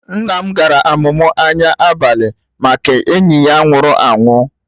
Nna m gara amụma anya abalị Make enyi ya nwụrụ anwụ